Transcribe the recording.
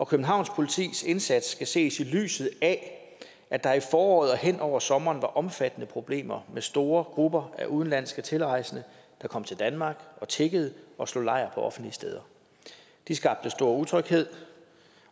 københavn politis indsats skal ses i lyset af at der i foråret og hen over sommeren var omfattende problemer med store grupper af udenlandske tilrejsende der kom til danmark og tiggede og slog lejr på offentlige steder de skabte stor utryghed